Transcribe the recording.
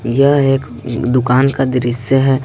यह एक दुकान का दृश्य है।